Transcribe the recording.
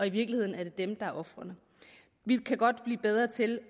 i virkeligheden er dem der er ofrene vi kan godt blive bedre til